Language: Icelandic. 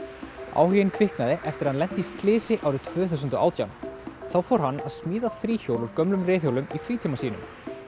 áhuginn kviknaði eftir að hann lenti í slysi árið tvö þúsund og átján þá fór hann að smíða þríhjól úr gömlum reiðhjólum í frítíma sínum